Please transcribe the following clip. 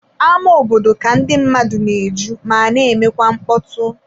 Ámá obodo ka ndị mmadụ na-eju ma na-emekwa mkpọtụ.